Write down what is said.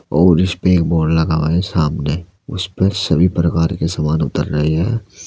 और इस पे एक बोर्ड लगा हुआ है सामने उस पे सभी प्रकार के सामान उतर रहे हैं।